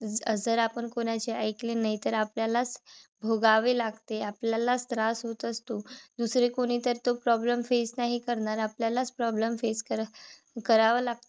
जर आपण कोणाचे ऐकले नाही तर आपल्यालाच भोगावे लागते. आपल्यालाच त्रास होत असतो. दुसरे कोणितर तो problem face नाही करणार. आपल्यालाच problem face कर करावा लागतो.